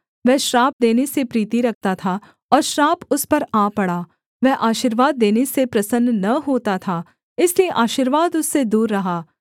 वह श्राप देने से प्रीति रखता था और श्राप उस पर आ पड़ा वह आशीर्वाद देने से प्रसन्न न होता था इसलिए आशीर्वाद उससे दूर रहा